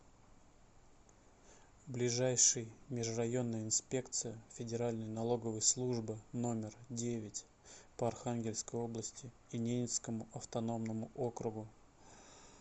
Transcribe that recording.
ближайший межрайонная инспекция федеральной налоговой службы номер девять по архангельской области и ненецкому автономному округу